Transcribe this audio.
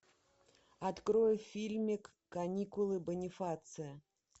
открой фильмик каникулы бонифация